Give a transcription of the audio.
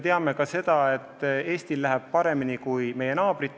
Samas me teame, et Eestil läheb paremini kui meie naabritel.